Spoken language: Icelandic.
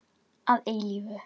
Horfði til himins og sagði: